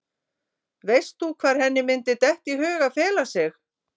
Veist þú hvar henni myndi detta í hug að fela sig?